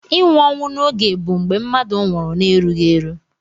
Inwụ onwụ na oge bu mgbe mmadu nwurụ na erughi eru.